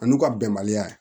A n'u ka bɛnbaliya ye